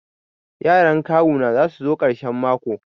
Yaran kawu na za su zo karshen mako.